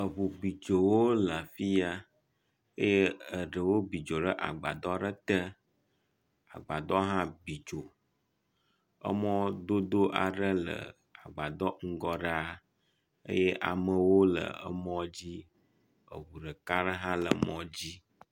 Eŋu biddzowo le afi ya eye eɖewo bi dzo ɖe agbadɔ aɖe te. Agbadɔ hã bi dzo. Emɔdodo aɖe le agbadɔ ŋgɔ ɖa eye amewo le emɔ dzi. Eŋu ɖeka aɖe hã le mɔ dzi.